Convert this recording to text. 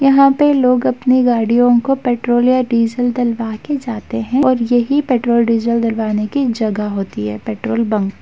यहाँ पे लोग अपनी गाड़ियो को पेट्रोल या डीजल डलवा के जाते है और यही पेट्रोल डीजल डलवाने की जगह होती है पेट्रोल --